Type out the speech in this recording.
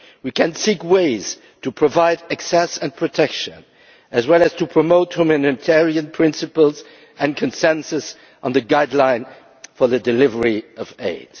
We can seek ways to provide access and protection, as well as to promote humanitarian principles and consensus on the guideline for the delivery of